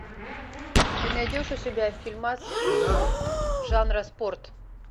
ты найдешь у себя фильмас жанра спорт